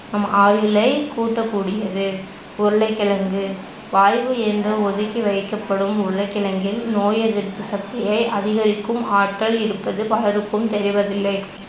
நம் ஆயுளை கூட்டக்கூடியது. உருளைக்கிழங்கு, வாய்வு என்று ஒதுக்கிவைக்கப்படும் உருளைக்கிழங்கில் நோய்யெதிர்ப்பு சக்தியை அதிகரிக்கும் ஆற்றல் இருப்பது பலருக்கும் தெரிவதில்லை